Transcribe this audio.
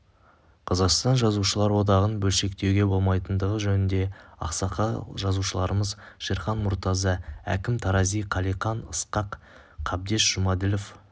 қазақстан жазушылар одағын бөлшектеуге болмайтындығы жөнінде ақсақал жазушыларымыз шерхан мұртаза әкім тарази қалиқан ысқақ қабдеш жұмаділов